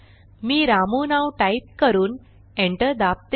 मी रामू नाव टाईप करून एंटर दाबते